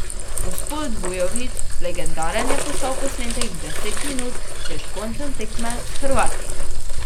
Gospod Vujović, legendaren je postal posnetek deset minut pred koncem tekme s Hrvati.